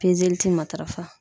Pezeli te matarafa.